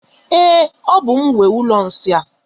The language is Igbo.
Ee, ọ bú m nwe ụlọ nsị a.